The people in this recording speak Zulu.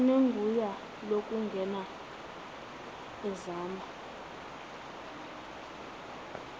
onegunya lokungena ezama